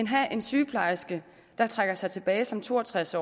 have en sygeplejerske der trækker sig tilbage som to og tres